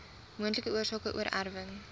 moontlike oorsake oorerwing